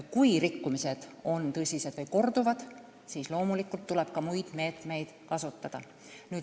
Kui rikkumised on tõsised või korduvad, siis tuleb loomulikult ka muid meetmeid kasutada.